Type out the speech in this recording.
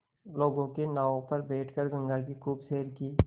लोगों के नावों पर बैठ कर गंगा की खूब सैर की